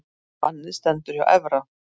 Bannið stendur hjá Evra